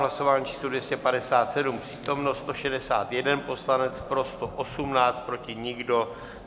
Hlasování číslo 257, přítomno 161 poslanec, pro 118, proti nikdo.